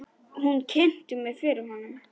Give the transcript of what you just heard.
Hún kynnti mig fyrir honum.